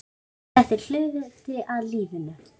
Þetta er hluti af lífinu.